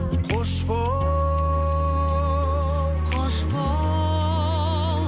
қош бол қош бол